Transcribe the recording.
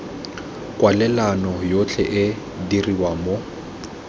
kwalelano yotlhe e dirwa mo